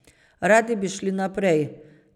Radi bi šli naprej.